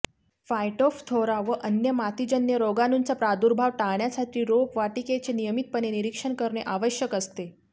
Phytophthora व अन्य मातीजन्य रोगाणूंचा प्रादुर्भाव टाळण्यासाठी रोपवाटीकेचे नियमितपणे निरीक्षण करणे आवश्यक असते